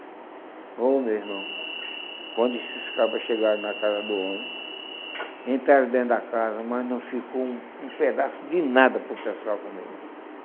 Ô meu irmão, quando esses caras chegaram na casa do homem, entraram dentro da casa, mas não ficou um pedaço de nada para o pessoal comer.